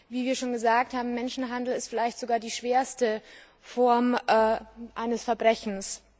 Wie wir schon gesagt haben, Menschenhandel ist vielleicht sogar die schwerste Form eines Verbrechens.